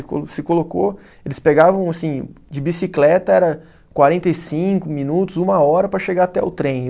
Ele co, se colocou, eles pegavam assim, de bicicleta era quarenta e cinco minutos, uma hora para chegar até o trem.